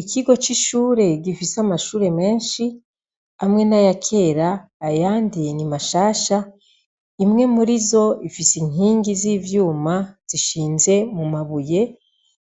Ikigo cishure gifise amashure menshi hamwe nayakera ayandi ni mashasha imwe murizo ifise inkigi zivyuma zishinze mumabuye